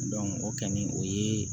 o kɔni o ye